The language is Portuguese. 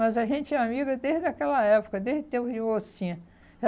Mas a gente é amiga desde aquela época, desde o tempo de mocinha.